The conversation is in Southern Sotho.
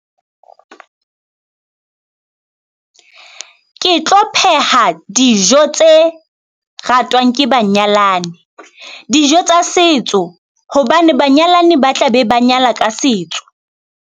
Ke tlo pheha dijo tse ratwang ke banyalani dijo tsa setso, hobane banyalani ba tla be ba nyala ka setso.